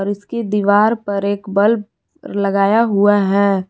इसकी दीवार पर एक बल्ब लगाया हुआ है।